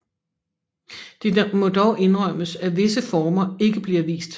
Det må dog indrømmes at visse former ikke bliver vist